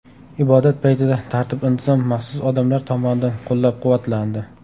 Ibodat paytida tartib-intizom maxsus odamlar tomonidan qo‘llab-quvvatlandi.